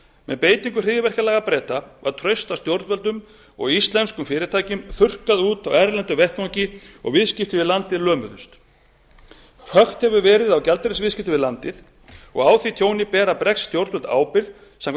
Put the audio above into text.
með beitingu hryðjuverkalaga breta var traust á stjórnvöldum og íslenskum fyrirtækjum þurrkað út á erlendum vettvangi og viðskipti við landið lömuðust hökt hefur verið á gjaldeyrisviðskiptum við landið á því tjóni bera bresk stjórnvöld ábyrgð samkvæmt